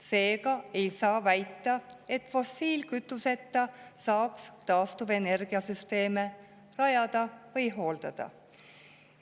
Seega ei saa väita, et fossiilkütuseta saaks taastuvenergiasüsteeme rajada või hooldada.